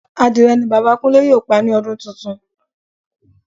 Adìrẹ ni Bàbá Kúnlé yóò pa ní ọdún tuntun